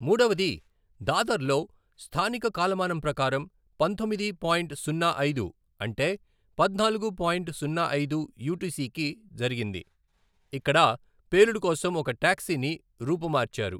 మూడవది దాదర్లో స్థానిక కాలమానం ప్రకారం పంతొమ్మిది పాయింట్ సున్నా ఐదు అంటే పద్నాలుగు పాయింట్ సున్నా ఐదు యూటిసికి జరిగింది, ఇక్కడ పేలుడు కోసం ఒక టాక్సీని రూపుమార్చారు.